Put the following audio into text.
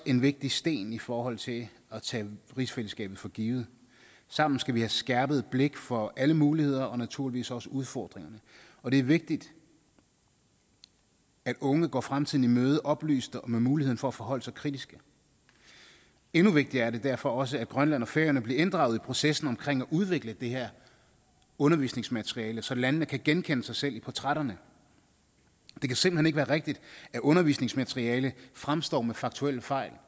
en vigtig sten i forhold til at tage rigsfællesskabet for givet sammen skal vi have skærpet blikket for alle muligheder og naturligvis også udfordringer og det er vigtigt at unge går fremtiden i møde oplyst og med muligheden for at forholde sig kritisk endnu vigtigere er det derfor også at grønland og færøerne bliver inddraget i processen omkring at udvikle det her undervisningsmateriale så landene kan genkende sig selv i portrætterne det kan simpelt hen ikke være rigtigt at undervisningsmateriale fremstår med faktuelle fejl